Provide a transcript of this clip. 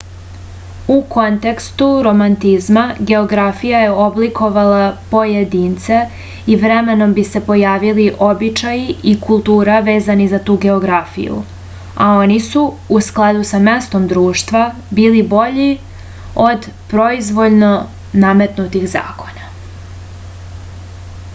u kontekstu romantizma geografija je oblikovala pojedince i vremenom bi se pojavili običaji i kultura vezani za tu geografiju a oni su u skladu sa mestom društva bili bolji od proizvoljno nametnutih zakona